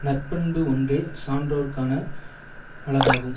நற்பண்பு ஒன்றே சான்றோர்க்கான அழகாகும்